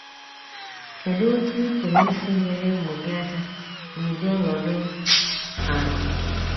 Kedụ otú ị pụrụ isi nyere ụmụ gị aka n’ụdị ọnọdụ a?